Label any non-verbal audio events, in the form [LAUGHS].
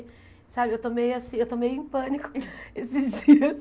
Sabe eu estou meio assi eu estou meio em pânico [LAUGHS] esses dias.